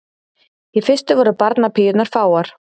Í fyrstu voru barnapíurnar fáar.